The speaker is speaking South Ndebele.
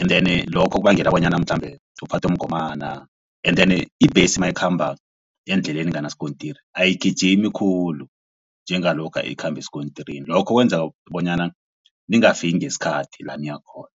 and then lokho kubangela bonyana mhlambe uphathwe mgomana and then ibhesi mayikhamba endleleni enganaskontiri ayigijimi khulu njengalokha ikhamba esikontirini, lokho kwenza bonyana ningafiki ngesikhathi la niyakhona.